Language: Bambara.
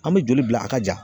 An bɛ joli bila a ka ja.